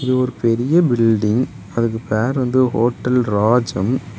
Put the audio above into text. இது ஒரு பெரிய பில்டிங் . அதுக்கு பேர் வந்து ஹோட்டல் ராஜம் .